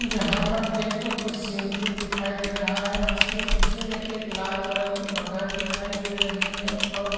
यहाँ पर एक स्विमिंग पूल दिखाई दे रहा है जिसके पीछे में एक लाल कलर की मकान दिखाई दे रही है और --